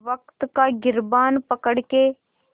वक़्त का गिरबान पकड़ के